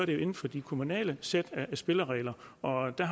jo inden for de kommunale sæt af spilleregler og hvad